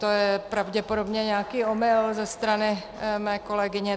To je pravděpodobně nějaký omyl ze strany mé kolegyně.